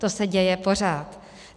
To se děje pořád.